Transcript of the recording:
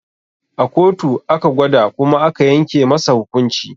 A kotu aka gwada kuma aka yanke masa hukunci